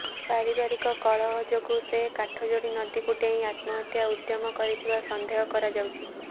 ପାରିବାରିକ କଳହ ଯୋଗୁଁ ସେ କାଠଯୋଡି ନଦୀକୁ ଡେଇଁ ଆତ୍ମହତ୍ୟା ଉଦ୍ୟମ କରିଥିବା ସନ୍ଦେହ କରାଯାଉଛି